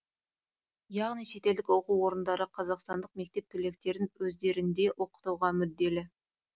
яғни шетелдік оқу орындары қазақстандық мектеп түлектерін өздерінде оқытуға мүдделі